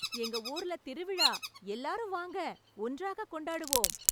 எங்க ஊர்ல திருவிழா, எல்லாரும் வாங்க, ஒன்றாக கொண்டாடுவோம்